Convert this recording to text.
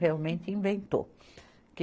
Realmente inventou. que